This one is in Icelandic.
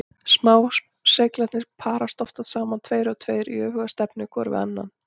Smá-seglarnir parast oftast saman tveir og tveir í öfuga stefnu hvor við annan.